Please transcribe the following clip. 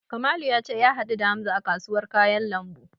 Kamalu ya ce ya haɗu da Hamza a kasuwar kayan lambu.